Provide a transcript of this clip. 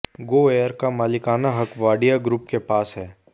GoAir का मालिकाना हक वाडिया ग्रुप के पास है